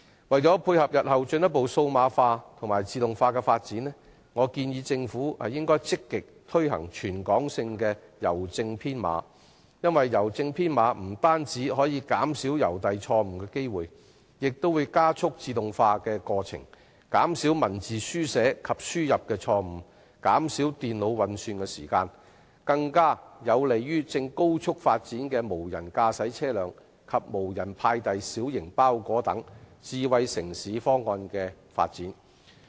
為配合日後進一步數碼化和自動化的發展，我建議政府積極推行全港性的郵政編碼，因為郵政編碼不單可減少郵遞錯誤機會，而且可加速自動化，減少文字書寫及輸入錯誤和電腦運算時間，對於正高速發展的無人駕駛車輛及無人派遞小型包裹等智慧城市方案的發展更為有利。